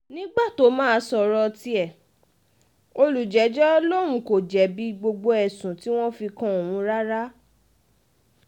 nígbà tó máa sọ̀rọ̀ tiẹ̀ olùjẹ́jọ́ lòun kò jẹ̀bi um gbogbo ẹ̀sùn tí wọ́n fi kan òun um rárá